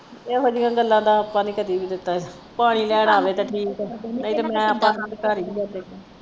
ਇਹੋ ਜਿਹੀਆਂ ਗੱਲਾਂ ਦਾ ਆਪਾਂ ਨਹੀਂ ਕਦੀ ਲਿੱਤਾ ਪਾਣੀ ਲੈਣ ਆਵੇ ਤੇ ਨਹੀਂ ਤੇ ਮੈਂ